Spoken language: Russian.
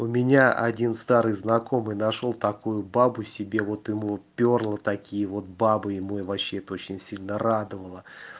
у меня один старый знакомый нашёл такую бабу себе вот ему пёрло такие вот бабы и ему вообще это очень сильно радовало